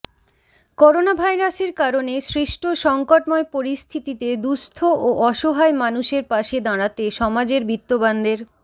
করোনাভাইরাসের কারণে সৃষ্ট সংকটময় পরিস্থিতিতে দুস্থ ও অসহায়মানুষের পাশে দাঁড়াতে সমাজের বিত্তবানদের